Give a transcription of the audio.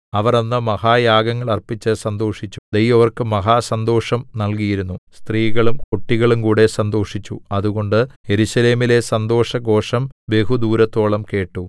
അവർ അന്ന് മഹായാഗങ്ങൾ അർപ്പിച്ച് സന്തോഷിച്ചു ദൈവം അവർക്ക് മഹാസന്തോഷം നല്കിയിരുന്നു സ്ത്രീകളും കുട്ടികളുംകൂടെ സന്തോഷിച്ചു അതുകൊണ്ട് യെരൂശലേമിലെ സന്തോഷഘോഷം ബഹുദൂരത്തോളം കേട്ടു